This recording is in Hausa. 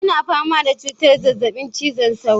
Yana fama da cutar zazzabin cizon sauro.